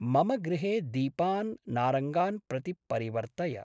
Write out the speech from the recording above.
मम गृहे दीपान् नारङ्गान् प्रति परिवर्तय।